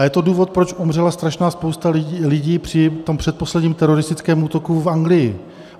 A je to důvod, proč umřela strašná spousta lidí při tom předposledním teroristickém útoku v Anglii.